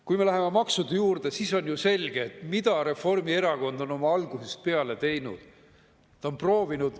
Kui me läheme maksude juurde, siis on ju selge, mida Reformierakond algusest peale teinud on.